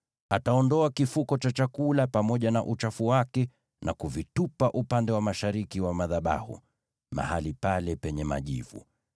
Ataondoa kifuko cha chakula pamoja na uchafu wake na kuvitupa upande wa mashariki wa madhabahu, mahali pale penye majivu.